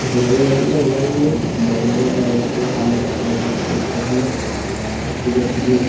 और मतलब फिर मुझे अभी भी हम --